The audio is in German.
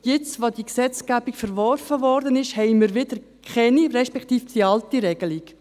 Jetzt, nachdem die Gesetzgebung verworfen wurde, haben wir wieder keine mehr, beziehungsweise die alte Regelung.